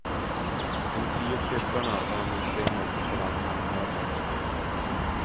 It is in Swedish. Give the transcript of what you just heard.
De tio siffrorna är en välsignelse för alla myndigheter.